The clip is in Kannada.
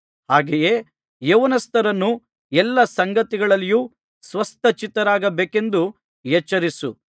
ಹಾಗೆಯೇ ಯೌವನಸ್ಥರನ್ನು ಎಲ್ಲಾ ಸಂಗತಿಗಳಲ್ಲಿಯೂ ಸ್ವಸ್ಥ ಚಿತ್ತರಾಗಿರಬೇಕೆಂದು ಎಚ್ಚರಿಸು